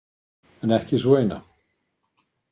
En ekki sú eina.